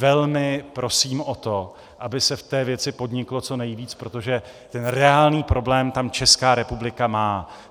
Velmi prosím o to, aby se v té věci podniklo co nejvíc, protože ten reálný problém tam Česká republika má.